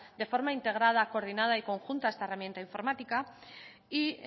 de forma integrada coordinada y conjunta esta herramienta informática y